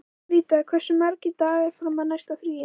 Rita, hversu margir dagar fram að næsta fríi?